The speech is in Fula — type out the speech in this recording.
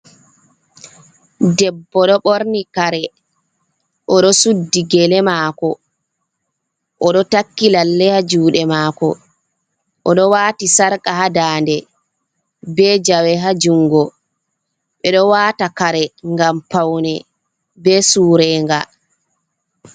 Debbo ɗo ɓorni kare, oɗo suddi gele mako, oɗo takki lalle ha juɗe mako, o ɗo wati sarqa ha dande be jawe hajungo, ɓeɗo wata kare ngam paune be surenga.